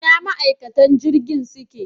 Ina ma'aikatan jirgin suke